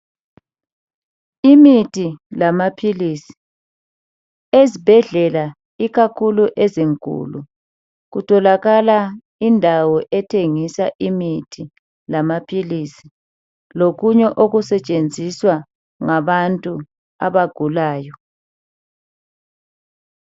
Imithi lamaphilisi, ezibhedlela ikakhulu ezinkulu kutholakala indawo ethengisa imithi lamaphilisi lokunye okusetshenziswa ngabantu abagulayo.